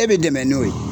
E bɛ dɛmɛ n'o ye